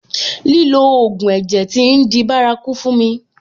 Lílo ògùn ẹ̀jẹ̀ tí ń di bárakú fún mi.